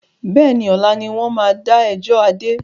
Bẹ́ẹ̀ni, ọ̀la ni wọn máa da ẹjọ́ Adé.